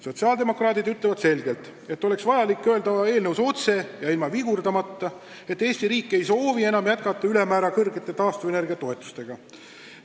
Sotsiaaldemokraadid arvavad, et eelnõus peaks ütlema otse ja ilma vigurdamata, et Eesti riik ei soovi enam jätkata ülemäära suurte taastuvenergia toetustega.